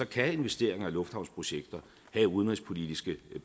kan investeringer i lufthavnsprojekter have udenrigspolitiske